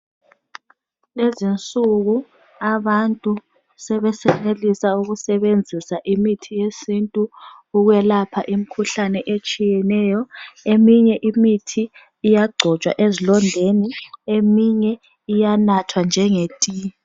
Lezinsuku abantu sebesenelisa ukusebenzisa imithi yesintu ukwelapha imikhuhlane etshiyeneyo eminye imithi iyagcotshwa ezilondeni eminye iyanathwa njenge tiye.